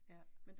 Ja